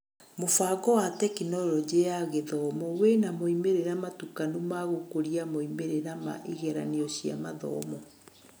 Mũbango wa Tekinoronjĩ ya Gĩthomo wĩna moimĩrĩra matukanu ma gũkũria moimĩrĩra ma igeranio cia mathomo